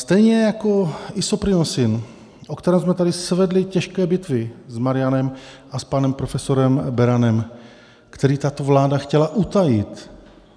Stejně jako Isoprinosine, o kterém jsme tady svedli těžké bitvy s Marianem a s panem profesorem Beranem, který tato vláda chtěla utajit.